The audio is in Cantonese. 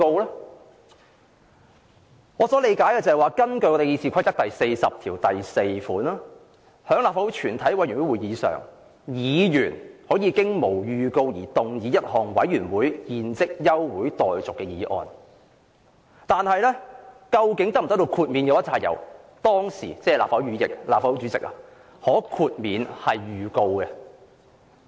按我理解，根據《議事規則》第404條，"在立法會全體委員會會議上，議員可無經預告而動議一項委員會現即休會待續的議案"，但究竟能否獲豁免預告，須由立法會主席判斷。